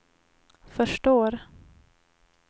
förstår